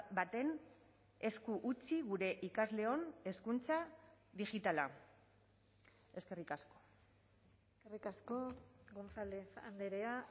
baten esku utzi gure ikasleon hezkuntza digitala eskerrik asko eskerrik asko gonzález andrea